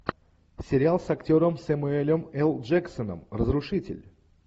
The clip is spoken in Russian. сериал с актером сэмюэлем л джексоном разрушитель